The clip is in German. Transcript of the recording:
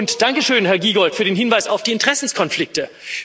Und danke schön, Herr Giegold, für den Hinweis auf die Interessenkonflikte.